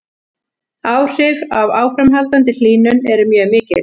Áhrif af áframhaldandi hlýnun eru mjög mikil.